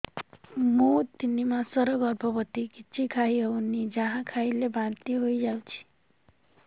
ମୁଁ ତିନି ମାସର ଗର୍ଭବତୀ କିଛି ଖାଇ ହେଉନି ଯାହା ଖାଇଲେ ବାନ୍ତି ହୋଇଯାଉଛି